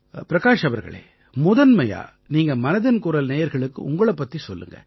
பிரகாஷ் அவர்களே முதன்மையா நீங்க மனதின் குரல் நேயர்களுக்கு உங்களைப் பத்தி சொல்லுங்க